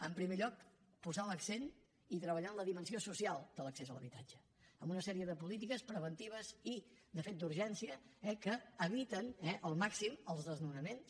en primer lloc posant l’accent i treballant la dimensió social de l’accés a l’habitatge amb una sèrie de polítiques preventives i de fet d’urgència que eviten al màxim els desnonaments